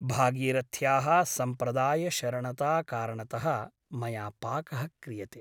भागीरथ्याः सम्प्रदायशरणताकारणतः मया पाकः क्रियते ।